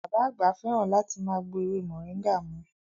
Bàbá àgbà fẹ́ràn láti máa gbo ewé moringa mu